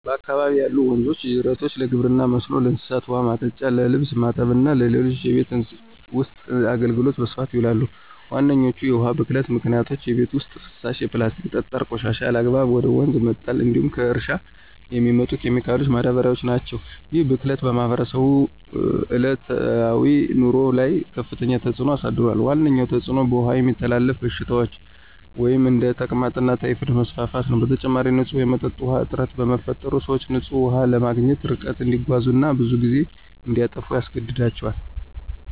በአካባቢዬ ያሉ ወንዞችና ጅረቶች ለግብርና መስኖ፣ ለእንስሳት ውኃ ማጠጫ፣ ለልብስ ማጠብ እና ለሌሎች የቤት ውስጥ አገልግሎት በስፋት ይውላሉ። ዋነኞቹ የውሃ ብክለት ምክንያቶች የቤት ውስጥ ፍሳሽ፣ የፕላስቲክና ጠጣር ቆሻሻ ያለአግባብ ወደ ወንዝ መጣል እንዲሁም ከእርሻ የሚመጡ ኬሚካሎችና ማዳበሪያዎች ናቸው። ይህ ብክለት በማህበረሰቡ ዕለታዊ ኑሮ ላይ ከፍተኛ ተጽዕኖ አሳድሯል። ዋነኛው ተጽዕኖ በውሃ የሚተላለፉ በሽታዎች (እንደ ተቅማጥና ታይፎይድ) መስፋፋት ነው። በተጨማሪም፣ ንጹህ የመጠጥ ውሃ እጥረት በመፈጠሩ፣ ሰዎች ንጹህ ውሃ ለማግኘት ርቀት እንዲጓዙ እና ብዙ ጊዜ እንዲያጠፉ ያስገድዳቸዋል።